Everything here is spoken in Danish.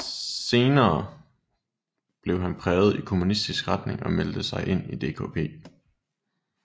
Senere blev han præget i kommunistisk retning og meldte sig ind i DKP